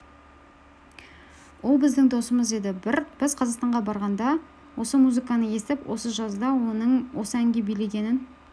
ол біздің досымыз еді біз қазақстанға барғанда осы музыканы естіп осы жазда оның осы әнге билегенін